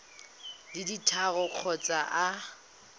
di le tharo kgotsa a